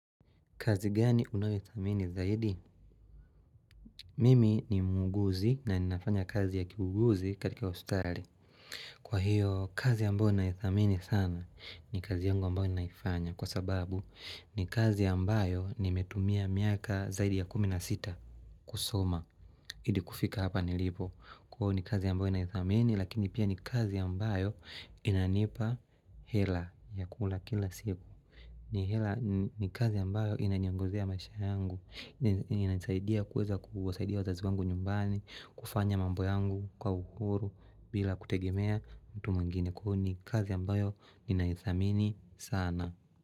Kazi gani unayodhamini zaidi? Mimi ni muuguzi na ninafanya kazi ya kiuuguzi katika hospitali. Kwa hiyo kazi ambayo naidhamini sana ni kazi yangu ambayo naifanya kwa sababu ni kazi ambayo nimetumia miaka zaidi ya kumi na sita kusoma. Hadi kufika hapa nilipo. Kwa hiyo kazi ambayo naidhamini lakini pia ni kazi ambayo inanipa hela ya kula kila siku. Ni hela ni kazi ambayo inaniongezea maisha yangu inanisaidia kuweza kuwasaidia wazazi wangu nyumbani kufanya mambo yangu kwa uhuru bila kutegemea mtu mwingine Kwa hivyo ni kazi ambayo ninaidhamini sana.